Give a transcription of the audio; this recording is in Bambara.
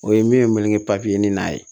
O ye min ye n wele ni n'a ye